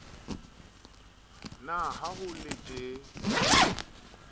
na ha ho le tjee